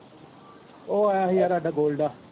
ਉਹ ਆਇਆ ਹੀ ਯਾਰ ਸਾਡਾ ਗੋਲਡਾ।